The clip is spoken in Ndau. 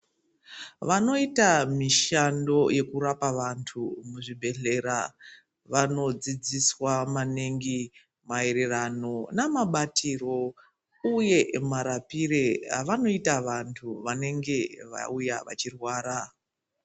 Vanoita mishando yekurapa vanthu muzvibhedhlera vanodzidziswa maningi maererano namabatirwo uye marapire avanoita vanthu vanenge vauya vachirwara.